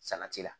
Salati la